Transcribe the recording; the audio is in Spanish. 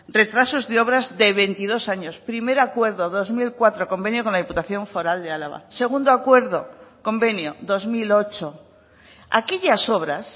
retrasos de obras de veintidós años primer acuerdo dos mil cuatro convenio con la diputación foral de álava segundo acuerdo convenio dos mil ocho aquellas obras